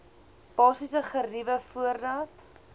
basiese geriewe voordat